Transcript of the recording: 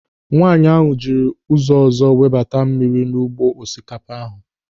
Nwaanyị ahụ jiri ụzọ ọzọ webata mmiri n'ugbo osikapa ahụ.